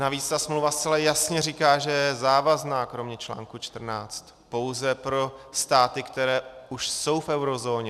Navíc ta smlouva zcela jasně říká, že je závazná, kromě článku 14, pouze pro státy, které už jsou v eurozóně.